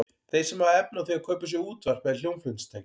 Þeir sem hafa efni á því að kaupa sér útvarp eða hljómflutningstæki.